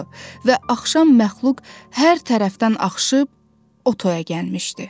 Və axşam məxluq hər tərəfdən axışıb o toya gəlmişdi.